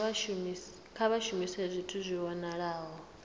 kha vha shumise zwithu zwi vhonalaho